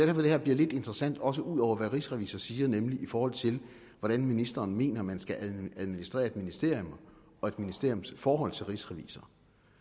det her bliver lidt interessant også ud over hvad rigsrevisor siger nemlig i forhold til hvordan ministeren mener man skal administrere et ministerium og et ministeriums forhold til rigsrevisor